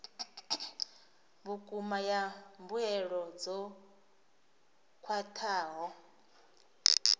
vhukuma ya mbuelo dzo khwathaho